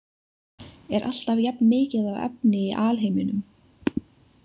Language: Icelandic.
Er alltaf jafnmikið af efni í alheiminum?